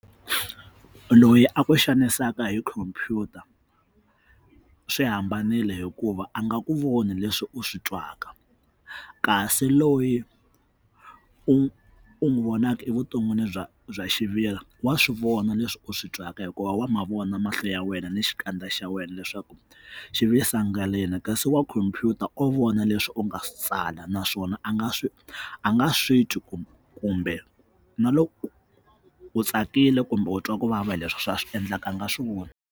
Ku loyi a ku xanisaka hi computer swi hambanile hikuva a nga ku voni leswi u swi twaka kasi loyi u u n'wi vonaka evuton'wini bya bya xiviri wa swivona leswi u swi twaka hikuva wa mavona mahlo ya wena ni xikandza xa wena leswaku xivisangalini kasi wa computer wo vona leswi u nga swi tsala naswona a nga swi a nga swi twi ku kumbe na loko u tsakile kumbe u twa kuvava leswi swi va swi endlaka a nga swivoni.